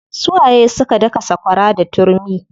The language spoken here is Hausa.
Su waye suka daka sakwara da turmi?